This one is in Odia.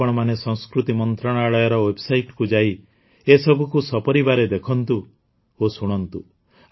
ଆପଣମାନେ ସଂସ୍କୃତି ମନ୍ତ୍ରଣାଳୟର ୱେବ୍ସାଇଟ୍କୁ ଯାଇ ଏସବୁକୁ ସପରିବାରେ ଦେଖନ୍ତୁ ଓ ଶୁଣନ୍ତୁ